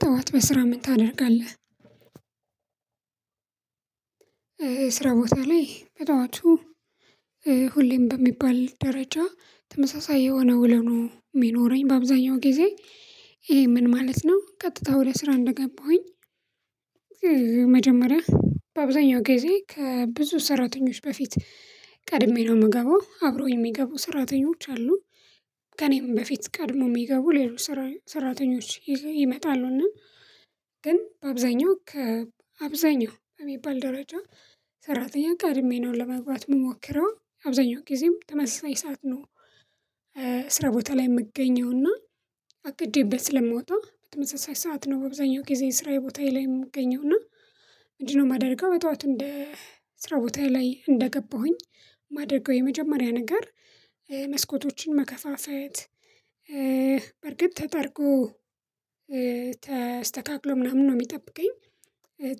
ጠዋት በስራ ምን ታደርጋለህ? ስራ ቦታ ላይ በጠዋቱ ሁሌም በሚባል ደረጃ ተመሳሳይ የሆነ ውሎ ነው የሚኖረኝ በአብዛኛው ጊዜ። ይሄ ምን ማለት ነው? ቀጥታ ወደ ስራ እንደገባሁኝ መጀመሪያ በአብዛኛው ጊዜ ከብዙ ሰራተኞች በፊት ቀድሜ ነው የምገባው አብሮ የሚገቡ ሰራተኞች አሉ። ከእኔም በፊት ቀድሞ የሚገቡ ሌሎች ሰራተኞች ይመጣሉና ግን በአብዛኛው ከአብዛኛው ከሚባል ደረጃ ሰራተኛ ቀድሜ ነው ለመግባት የምሞክረው አብዛኛው ጊዜም ተመሳሳይ ሰዓት ነው። ስራ ቦታ ላይ የምገኘውና አቅቼበት ስለምወጣ በተመሳሳይ ሰዓት ነው በአብዛኛው ጊዜ ስራዬ ቦታዬ ላይ የምገኘው እና? ምንድነው የማደርገው በጠዋት እንደ ስራ ቦታዬ ላይ እንደገባሁኝ ማደርገው የመጀመሪያ ነገር መስኮቶችን መከፋፈት በርግጥ ተጠርጎ ተስተካክሎ ምናምን ነው የሚጠብቀኝ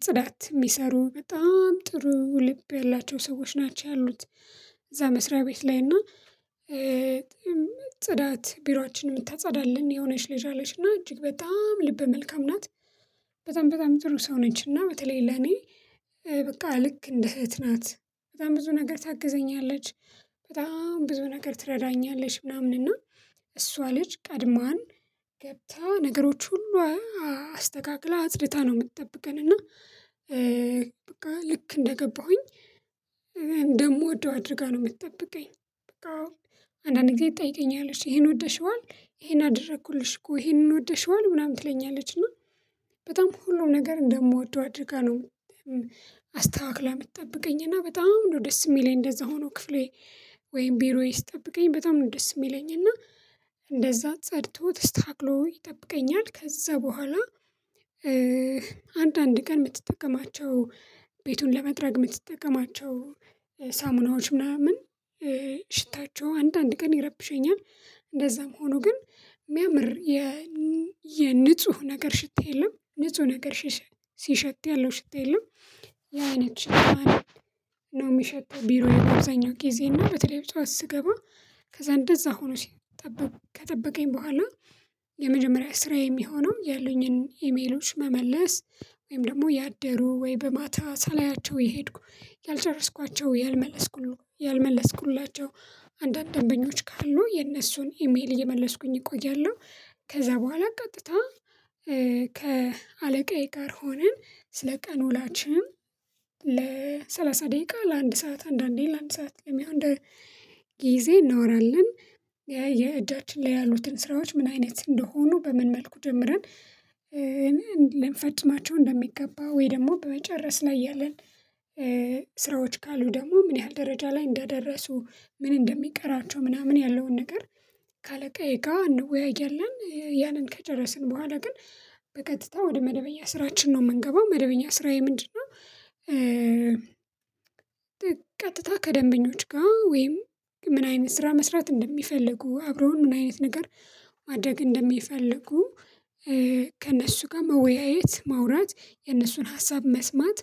ጽዳት የሚሰሩ በጣም ጥሩ ልብ ያላቸው ሰዎች ናቸው። ያሉት እዛ መስሪያ ቤት ላይ እና ጽዳት የ ቢሮአችን ምታጸዳለን የሆነች ልጅ አለች እና እጅግ በጣም ልበ መልካም ናት። በጣም በጣም ጥሩ ሰው ነች እና በተለይ ለኔ በቃ ልክ እንደ እህት ናት። በጣም ብዙ ነገር ታግዘኛለች። በጣም ብዙ ነገር ትረዳኛለች ምናምን እና እሷ ልጅ ቀድማን ገብታ ነገሮች ሁሉ አስተካክላ አፅድታ ነው የምትጠብቀን እና በቃ ልክ እንደገባሁኝ እንደምወደው አድርጋ ነው የምትጠብቀኝ። በቃ አንዳንዴ ትጠይቀኛለች ይሄን ወደሽዋል ይሄን አደረኩልሽ እኮ ይሄንን ወደሽዋል ምናምን ትለኛለች እና በጣም ሁሉም ነገር እንደምወደው አድርጋ ነው። አስተካክለህ የምትጠብቀኝ እና በጣም ነው ደስ የሚለኝ እንደዛ ሆኖ ክፍሌ ወይም ቢሮዬ ስጠብቀኝ በጣም ደስ የሚለኝ እና እንደዛ ጸድቶ ተስተካክሎ ይጠብቀኛል። ከዛ በኋላ አንዳንድ ቀን የምትጠቀማቸው ቤቱን ለመጥረግ የምትጠቀማቸው ሳሙናዎች ምናምን ሽታቸው አንድ አንድ ቀን ይረብሸኛል። እንደዛም ሆኖ ግን ሚያምር የ የንጹህ ነገር ሽት የለም። ንጹህ ሽት ሲሸት ያለው ሽት የለውም። ያ አይነት ሽት ነው የሚሸተው ቢሮ በአብዛኛው ጊዜ እና በተለይ በጠዋት ስገባ ከዛ እንደዛ ሆኖ ሲጠበቅ ከጠበቀኝ በኋላ የመጀመሪያ ስራ የሚሆነው ያሉኝን ኢሜሎች መመለስ። ወይም ደግሞ ያደሩ ወይ በማታ ሳላያቸው የሄድኩ ያልጨረስኳቸው ያልመለስኩላቸው አንዳንድ ደንበኞች ካሉ የነሱን ኢሜይል እየመለስኩኝ እቆያለሁ። ከዛ በኋላ ቀጥታ ከአለቃዬ ጋር ሆነን ስለ ቀን ውሎዋላችን ለሰላሳ ደቂቃ ለአንድ ሰዓት አንዳንዴ ለአንድ ሰዓት ለሚሆን ጊዜ እናወራለን። የእጃችን ላይ ያሉትን ስራዎች ምን አይነት እንደሆኑ በምን መልኩ ጀምረን ልንፈፅማቸው እንደሚገባ ወይ ደግሞ በመጨረስ ላይ ያለን ስራዎች ካሉ ደግሞ ምን ያህል ደረጃ ላይ እንዳደረሱ ምን እንደሚቀራቸው ምናምን ያለውን ነገር ከአለቃ ይጋ እንወያያለን። ያንን ከጨረስን በኋላ ግን በቀጥታ ወደ መደበኛ ስራችን ነው የምንገባው። መደበኛ ስራዬ ምንድነው? ቀጥታ ከደንበኞች ጋር ወይም ምን አይነት ስራ መስራት እንደሚፈልጉ አብረውን ምን አይነት ነገር ማድረግ እንደሚፈልጉ ከእነሱ ጋር መወያየት ማውራት የእነሱን ሀሳብ መስማት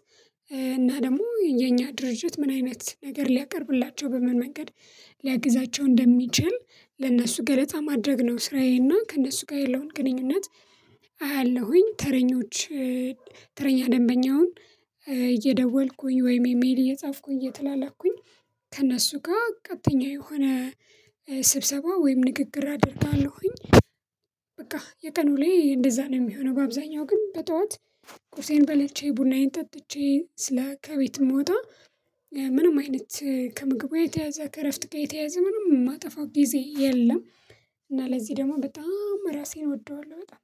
እና ደግሞ የኛ ድርጅት ምን አይነት ነገር ሊያቀርብላቸው በምን መንገድ ሊያግዛቸው እንደሚችል ለእነሱ ገለጻ ማድረግ ነው። ስራዬና ከእነሱ ጋር ያለውን ግንኙነት አያለሁኝ ተረኞች ተረኛ ደንበኛውን እየደወልኩኝ ወይም ኢሜይል እየጻፍኩኝ እየተላላኩኝ ከእነሱ ጋር ቀጥተኛ የሆነ ስብሰባ ወይም ንግግር አደርጋለሁኝ። በቃ የቀኑ ላይ እንደዛ ነው የሚሆነው በአብዛኛው ግን በጠዋት ቁርሴን በልቼ ቡናዬን ጠጥቼ ስለ ከቤት የምወጣ ምንም አይነት ከምግብ ጋር የተያያዘ ከእረፍት ጋር የተያያዘ ምንም የማጠፋው ጊዜ የለም። እና ለዚህ ደግሞ በጣም ራሴን እወደዋለሁ በጣም